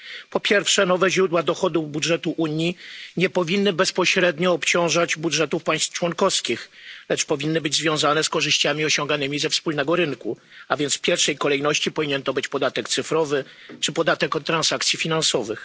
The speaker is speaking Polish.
Po pierwsze, nowe źródła dochodów budżetu Unii nie powinny bezpośrednio obciążać budżetów państw członkowskich, lecz powinny być związane z korzyściami osiąganymi ze wspólnego rynku, a więc w pierwszej kolejności powinien to być podatek cyfrowy czy podatek od transakcji finansowych.